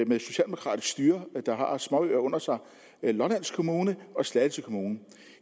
med socialdemokratisk styre der har småøer under sig lolland kommune og slagelse kommune